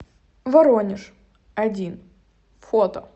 воронеж один фото